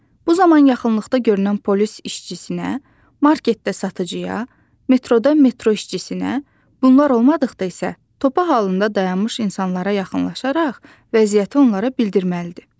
Bu zaman yaxınlıqda görünən polis işçisinə, marketdə satıcıya, metroda metro işçisinə, bunlar olmadıqda isə topa halında dayanmış insanlara yaxınlaşaraq vəziyyəti onlara bildirməlidir.